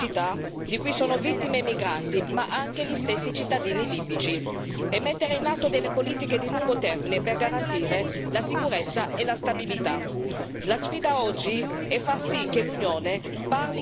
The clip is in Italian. Dobbiamo agire con misure d'urgenza per rispondere alle atrocità di cui sono vittime i migranti, ma anche gli stessi cittadini libici, e mettere in atto politiche di lungo termine per garantire la sicurezza e la stabilità.